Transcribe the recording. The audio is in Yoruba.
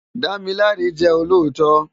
Damilare jè ólótò